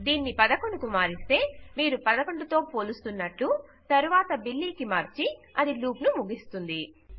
దీనిని 11 కు మారిస్తే మీరు 11 తో పోలుస్తున్నట్టు తరువాత బిల్లీబిలీ కి మార్చి అది లూప్ ను ముగిస్తుంది